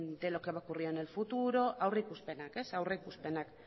de lo que va a ocurrir en el futuro aurrikuspenak beno ba